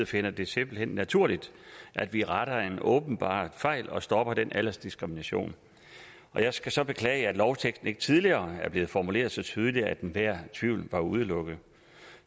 finder det simpelt hen naturligt at vi retter en åbenbar fejl og stopper den aldersdiskrimination jeg skal så beklage at lovteksten ikke tidligere er blevet formuleret så tydeligt at enhver tvivl var udelukket